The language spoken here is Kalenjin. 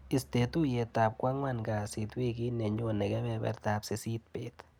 Istee tuiyetap kwang'an kasit wikit nenyone kebebertap sisit bet.